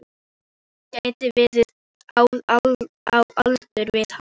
Gæti verið á aldur við hann.